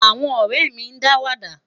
àwọn orèmi dawada